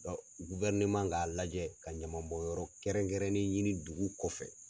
k'a lajɛ ka ɲaman bɔn yɔrɔ kɛrɛn kɛrɛnnen ɲini dugu kɔfɛ.